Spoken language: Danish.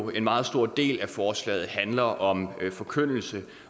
en meget stor del af forslaget handler om forkyndelse